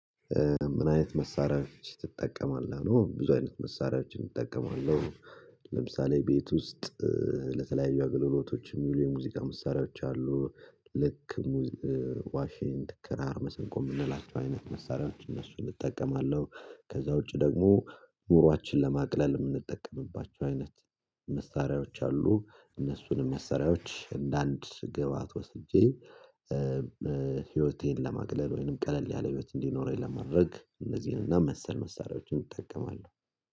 ምን አይነት መሳሪያዎች ትጠቀማለህ ነው? ብዙ አይነት መሳሪያዎችን እጠቀማለሁ። ለምሳሌ ቤት ውስጥ ለተለያዩ አገልግሎቶች የሚሉ የሙዚቃ መሳሪያዎች አሉ። ልክ ዋሽንት ክራር መሰንቆ የምንላቸው አይነት መሳሪያዎች እነሱን እጠቀማለሁ። ከዛ ውጪ ደግሞ ኑሯችንን ለማቅለል የምንጠቀምባቸው አይነት መሳሪያዎች አሉ። እነሱንም መሳሪያዎች እንደ አንድ ግብአት ወስጄ ህይወቴን ለማግለብ ወይንም ቀለል ያለ ህይወት እንዲኖረኝ ለማድረግ እነዚህን እና መሰል መሳሪያዎችን እጠቀማለሁ